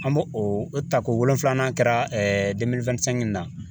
An b'o o tako wolonwulanan na